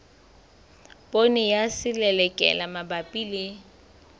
poone ya selelekela mabapi le